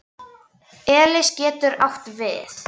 Elis getur átt við